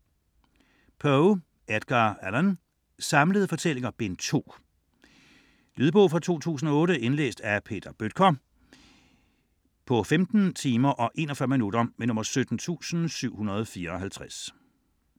Poe, Edgar Allan: Samlede fortællinger: Bind 2 Noveller, hvor Poe blander gys og gru, historiske fortællinger, detektivfortællinger og især de psykologiske aspekter, som gennemsyrer alle novellerne. Lydbog 17754 Indlæst af Peter Bøttger, 2008. Spilletid: 15 timer, 41 minutter.